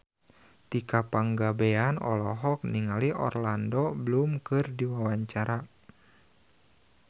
Tika Pangabean olohok ningali Orlando Bloom keur diwawancara